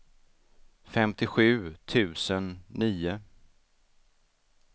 femtiosju tusen nio